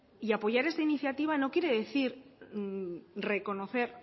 y apoyar esta iniciativa no quiere decir reconocer